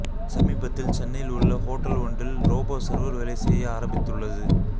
சமீபத்தில் சென்னையில் உள்ள ஓட்டல் ஒன்றில் ரோபோ சர்வர் வேலை செய்ய ஆரம்பித்துள்ளது